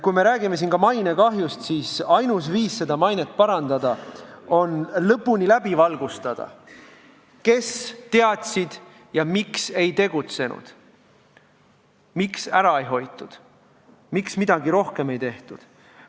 Kui me räägime mainekahjust, siis ainus viis mainet parandada on lõpuni läbi valgustada, kes teadsid ja miks ei tegutsenud, miks ära ei hoitud, miks midagi rohkem ei tehtud.